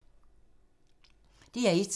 DR1